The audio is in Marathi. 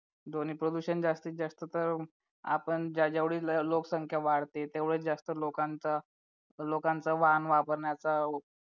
ध्वनी प्रदूषण जास्तीत जास्त तर आपण ज्या जेवढी लोकसंख्या वाढते तेवढ्या जास्त लोकांचा लोकांचा वाहन वापरण्याचा